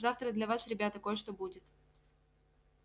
завтра для вас ребята кое-что будет